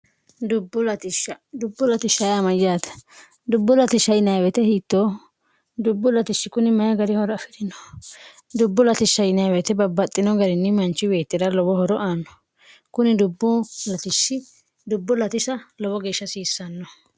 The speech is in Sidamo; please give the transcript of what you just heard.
dbu lsyate dubbu ltshinw hiitto dubbu ltishshi kuni mayi gari horo afi'rino dubbu latishinwt babbaxxino garinni manchi weettira lowo horo aanno kuni dubbu latisa lowo geeshsha hasiissanno